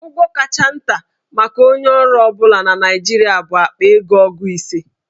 Ụgwọ kacha nta maka onye ọrụ ọ bụla na Naịjirịa bụ akpa ego ogu ise.